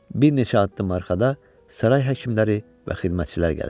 Bir neçə addım arxada saray həkimləri və xidmətçilər gəlirdi.